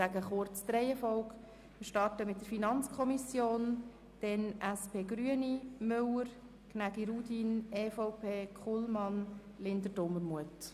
Wir starten mit der FiKo, gefolgt von der SP-JUSO-PSA- und der grünen Fraktion, den Ratsmitgliedern Müller, Gnägi, Rudin, der EVP-Fraktion sowie den Ratsmitgliedern Kullmann, Linder und Dumermuth.